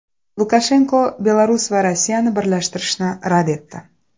Lukashenko Belarus va Rossiyani birlashtirishni rad etdi.